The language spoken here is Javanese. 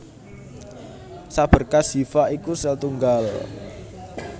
Saberkas hifa iku sel tunggal